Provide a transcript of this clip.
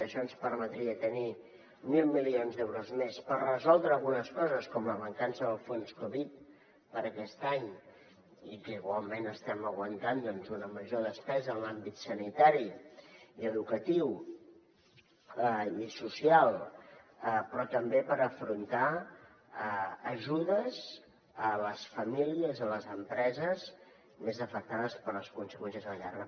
això ens permetria tenir mil milions d’euros més per resoldre algunes coses com la mancança del fons covid per a aquest any que igualment estem aguantant una major despesa en els àmbits sanitari educatiu i social però també per afrontar ajudes a les famílies a les empreses més afectades per les conseqüències de la guerra